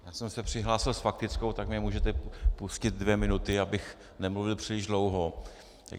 Já jsem se přihlásil s faktickou, tak mi můžete pustit dvě minuty, abych nemluvil příliš dlouho.